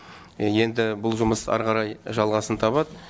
енді бұл жұмыс әрі қарай жалғасын табады